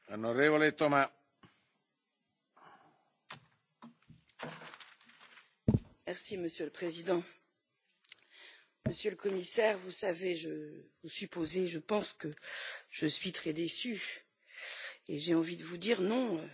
Monsieur le Président, Monsieur le Commissaire, vous supposez, je pense, que je suis très déçue et j'ai envie de vous dire que non, malheureusement, la proposition de la Commission n'est pas le fruit d'un travail avec le Parlement,